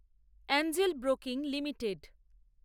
Angel Broking limited